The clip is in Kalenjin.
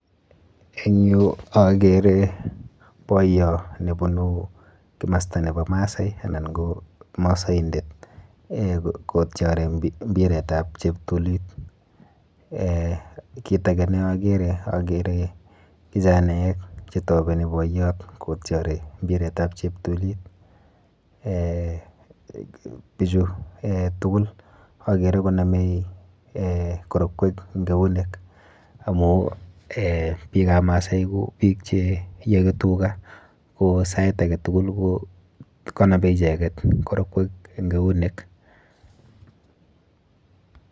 Eng yu akere boiyo nebunu kimasta nepo Maasai anan ko Masaindet eh kotyori mbiretap cheptulit. Kit ake neakere akere kijanaek chetobeni boiyot kytori mbiretap cheptulit. Eh bichu eh tugul akere konome eh korokwek eng eunek amu eh biikap Maasai ko biik cheiyoki tuga ko sait aketugul kokonopi icheket korokwek eng eunek.